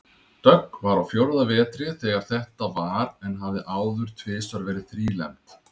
Dögg var á fjórða vetri þegar þetta var en hafði áður tvisvar verið þrílembd.